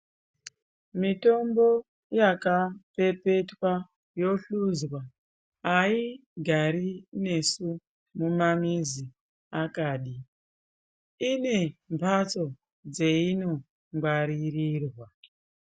Mitombo yakapepetwa yohluzwa aigare nesu mumamizi akadi ine mhatso dzeino ngwaririrwa.